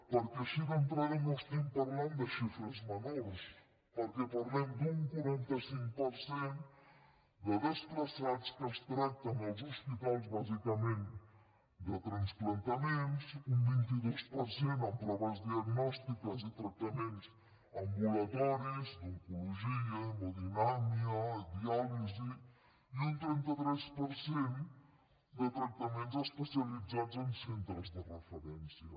perquè així d’entrada no estem parlant de xifres menors perquè parlem d’un quaranta cinc per cent de desplaçats que es tracten als hospitals bàsicament de transplantaments un vint dos per cent en proves diagnòstiques i tractaments ambulatoris d’oncologia hemodinàmica diàlisi i un trenta tres per cent de tractaments especialitzats en centres de referència